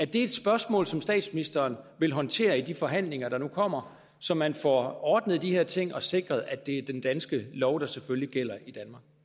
det et spørgsmål som statsministeren vil håndtere i de forhandlinger der nu kommer så man får ordnet de her ting og sikret at det er den danske lov der selvfølgelig gælder i